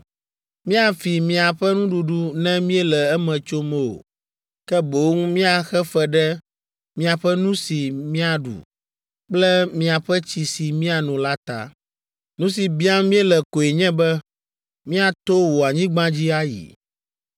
Míafi miaƒe nuɖuɖu ne míele eme tsom o, ke boŋ míaxe fe ɖe miaƒe nu si míaɖu kple miaƒe tsi si míano la ta. Nu si biam míele koe nye be míato wò anyigba dzi ayi.’